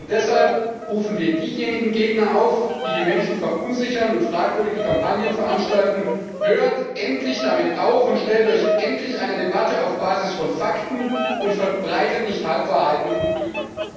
Deshalb rufen wir diejenigen Gegner auf, die die Menschen verunsichern und fragwürdige Kampagnen veranstalten Hört endlich damit auf und stellt euch endlich einer Debatte auf Basis von Fakten und verbreitet nicht Halbwahrheiten und Lügen.